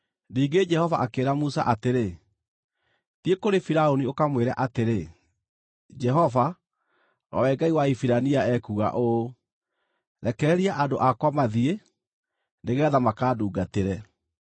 Ningĩ Jehova akĩĩra Musa atĩrĩ, “Thiĩ kũrĩ Firaũni ũkamwĩre atĩrĩ, ‘Jehova, o we Ngai wa Ahibirania ekuuga ũũ: “Rekereria andũ akwa mathiĩ, nĩgeetha makandungatĩre.”